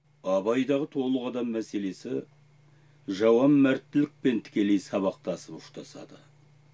абайдағы толық адам мәселесі жалаңмәрттілікпен тікелей сабақтасып ұштасады